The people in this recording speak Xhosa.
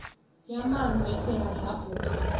yamanzi ethe yadlabhuka